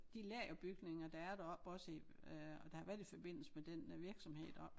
De lagerbygninger der er deroppe også i øh der har været i forbindelse med den virksomhed deroppe